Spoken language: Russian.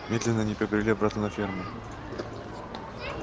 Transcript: медленно они побрели обратно на ферму